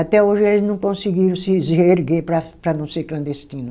Até hoje eles não conseguiram se reerguer para para não ser clandestino.